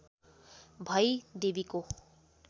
भई देवीको